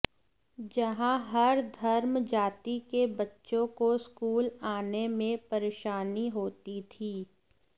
जहां हर धर्म जाति के बच्चों को स्कूल आने में परेशानी होती थी